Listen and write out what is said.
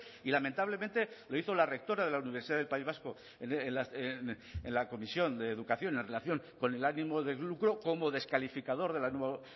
y lamentablemente lo hizo la rectora de la universidad del país vasco en la comisión de educación en relación con el ánimo de lucro como descalificador de la nueva